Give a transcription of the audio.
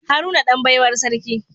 Haruna Dan baiwar sarki